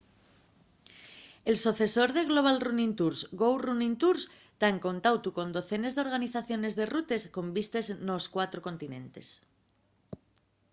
el socesor de global running tours go running tours ta en contautu con docenes d'organizadores de rutes con vistes nos cuatro continentes